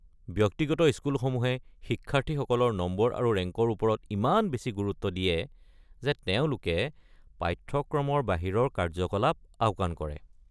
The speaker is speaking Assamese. ব্যক্তিগত স্কুলসমূহে শিক্ষাৰ্থীসকলৰ নম্বৰ আৰু ৰেংকৰ ওপৰত ইমান বেছি গুৰুত্ব দিয়ে যে তেওঁলোকে পাঠ্যক্ৰমৰ বাহিৰৰ কাৰ্যকলাপ আওকাণ কৰে।